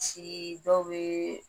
dɔw bɛ